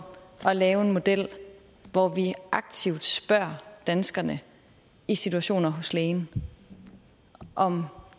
at lave en model hvor vi aktivt spørger danskerne i situationer hos lægen om